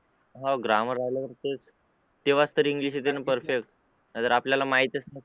हो ग्रामर आल्यावर तेच तेव्हाच तर इंग्लिश येते ना perfect जर आपल्याला माहीतच नसेल